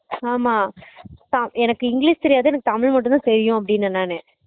ஆமா தா எனக்கு english தெரியாது தமிழ் மட்டும் தான் தெரியும் அப்படினேன் நானு